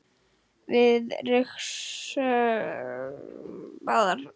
Við rigsum báðar.